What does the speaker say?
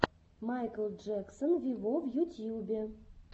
майкл джексон вево в ютьюбе